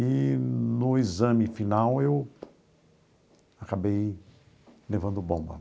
Eee no exame final eu acabei levando bomba.